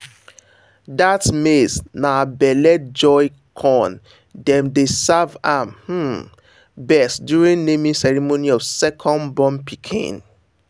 that maize na belly joy corn dem dey serve am um best during naming ceremony of second born pikin.